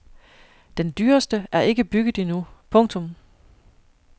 Den dyreste er ikke bygget endnu. punktum